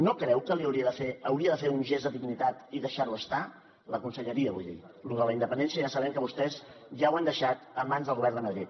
no creu que hauria de fer un gest de dignitat i deixar ho estar la conselleria vull dir lo de la independència ja sabem que vostès ja ho han deixat en mans del govern de madrid